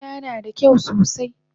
Birina nada kyau sosai